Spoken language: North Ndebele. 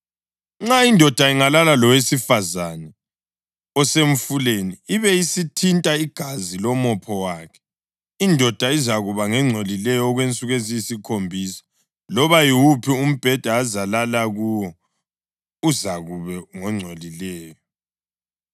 Nxa indoda ingalala lowesifazane osemfuleni ibe isithinta igazi lomopho wakhe, indoda izakuba ngengcolileyo okwensuku eziyisikhombisa, loba yiwuphi umbheda ezalala kuwo, uzakuba ngongcolileyo.